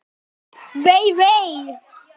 Vei, vei.